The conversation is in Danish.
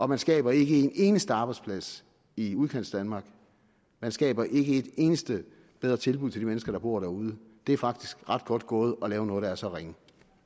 man skaber ikke en eneste arbejdsplads i udkantsdanmark og man skaber ikke et eneste bedre tilbud til de mennesker der bor derude det er faktisk ret godt gået at lave noget der er så ringe